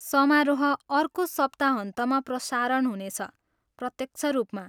समारोह अर्को सप्ताहन्तमा प्रसारण हुने छ, प्रत्यक्ष रूपमा।